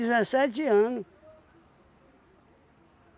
dezessete ano